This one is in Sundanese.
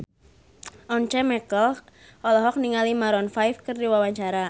Once Mekel olohok ningali Maroon 5 keur diwawancara